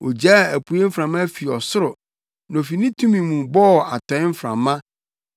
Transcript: Ogyaa apuei mframa fi ɔsoro, na ofi ne tumi mu bɔɔ atɔe mframa.